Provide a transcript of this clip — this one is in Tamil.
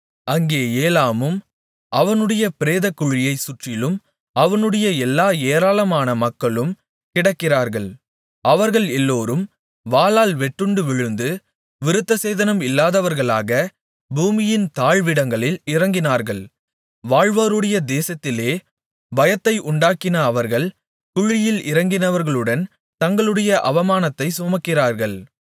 அங்கே ஏலாமும் அவனுடைய பிரேதக்குழியைச் சுற்றிலும் அவனுடைய எல்லா ஏராளமான மக்களும் கிடக்கிறார்கள் அவர்கள் எல்லோரும் வாளால் வெட்டுண்டு விழுந்து விருத்தசேதனம் இல்லாதவர்களாக பூமியின் தாழ்விடங்களில் இறங்கினார்கள் வாழ்வோருடைய தேசத்திலே பயத்தை உண்டாக்கின அவர்கள் குழியில் இறங்கினவர்களுடன் தங்களுடைய அவமானத்தைச் சுமக்கிறார்கள்